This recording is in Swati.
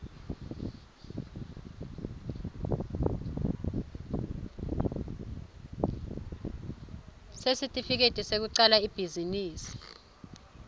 sesitifiketi sekucala ibhizinisi